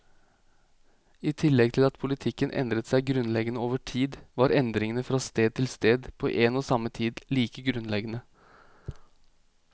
I tillegg til at politikken endret seg grunnleggende over tid, var endringene fra sted til sted på en og samme tid like grunnleggende.